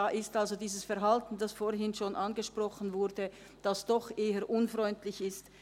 Da ist das vorhin angesprochene Verhalten, das doch eher unfreundlich ist.